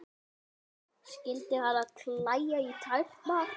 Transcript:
Skyldi hana klæja í tærnar?